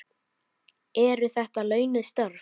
Eru þetta launuð störf?